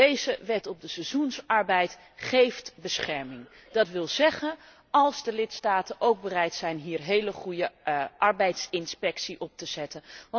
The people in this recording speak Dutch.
Deze wet op de seizoenarbeid geeft bescherming, dat wil zeggen, als de lidstaten ook bereid zijn hier heel goede arbeidsinspectie op te zetten.